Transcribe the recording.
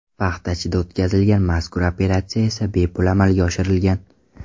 Paxtachida o‘tkazilgan mazkur operatsiya esa bepul amalga oshirilgan.